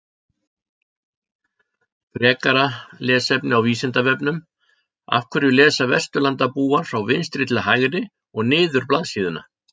Frekara lesefni á Vísindavefnum Af hverju lesa Vesturlandabúar frá vinstri til hægri og niður blaðsíðuna?